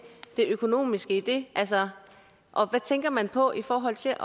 det økonomiske i det og altså hvad tænker man på i forhold til